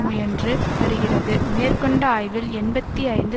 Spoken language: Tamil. முயன்று வருகிறது மேற்கொண்ட ஆய்வில் எண்பத்தி ஐந்து